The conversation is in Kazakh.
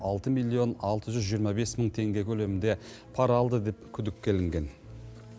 алты миллион алты жүз жиырма бес мың теңге көлемінде пара алды деп күдікке ілінген